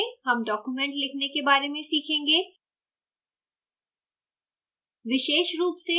इस tutorial में हम document लिखने के बारे में सीखेंगे